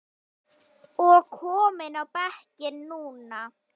og kominn á bekkinn núna?